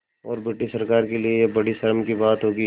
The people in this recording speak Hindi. और ब्रिटिश सरकार के लिये यह बड़ी शर्म की बात होगी